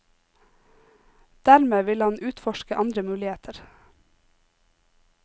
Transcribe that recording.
Dermed ville han utforske andre muligheter.